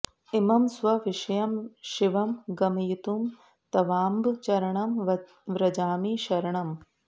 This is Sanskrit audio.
इमं स्वविषयं शिवं गमयितुं तवाम्ब चरणं व्रजामि शरणम्